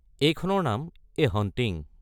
এইখনৰ নাম ‘a hunting’.